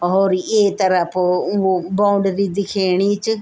और ये तरफ वो बाउंड्री दिखेणी च।